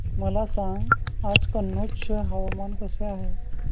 मला सांगा की आज कनौज चे हवामान कसे आहे